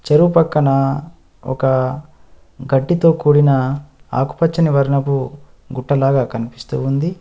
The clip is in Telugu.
చెరువు పక్కన ఒక గడ్డితో కూడిన ఆకుపచ్చని వర్ణపు గుట్టలాగా కనిపిస్తూ ఉంది.